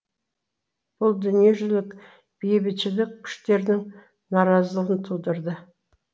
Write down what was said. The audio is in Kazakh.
бұл дүниежүзілік бейбітшілік күштерінің наразылығын тудырды